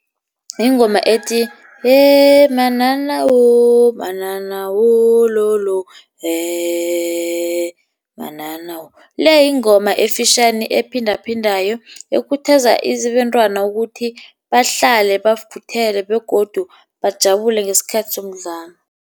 Yingoma ethi, bhanana wololo bhanana wololo bhanana. Le yingoma efitjhani ephindaphindaKo, ekhuthaza abentwana ukuthi bahlale bakhuthele, begodu bajabulile ngesikhathi somdlalo.